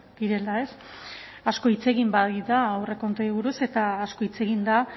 direla ez asko hitz egin baita aurrekontuei buruz eta asko hitz egin da